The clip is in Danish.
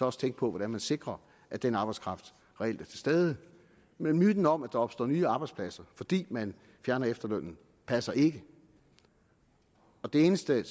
også tænke på hvordan man sikrer at den arbejdskraft reelt er til stede men myten om at der opstår nye arbejdspladser fordi man fjerner efterlønnen passer ikke det eneste jeg